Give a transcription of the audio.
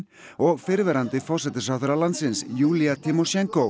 og fyrrverandi forsætisráðherra landsins Júlía